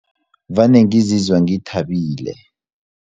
Vane ngizizwa ngithabile.